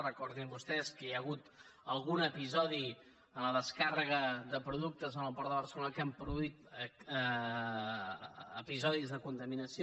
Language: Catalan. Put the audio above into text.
recordin vostès que hi ha hagut algun episodi en la descàrrega de productes en el port de barcelona que ha produït episodis de contaminació